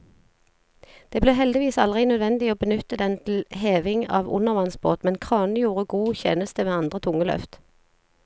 Det ble heldigvis aldri nødvendig å benytte den til heving av undervannsbåt, men kranen gjorde god tjeneste ved andre tunge løft.